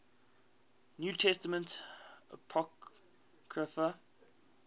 new testament apocrypha